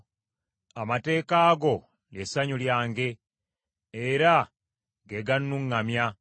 Amateeka go lye ssanyu lyange, era ge gannuŋŋamya.